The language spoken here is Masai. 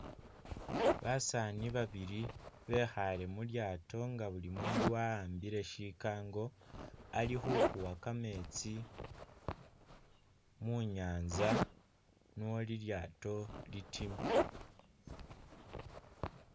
Basaani babili bekhale mulyato nga buli mundu wa'ambile shikango alikhu kuwa kametsi munyanza nuwo lilyato litime